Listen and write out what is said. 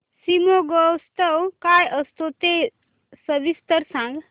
शिमगोत्सव काय असतो ते सविस्तर सांग